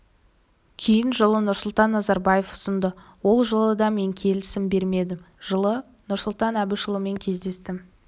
кейін жылы нұрсұлтан назарбаев ұсынды ол жылы да мен келісім бермедім жылы нұрсұлтан әбішұлымен кездестім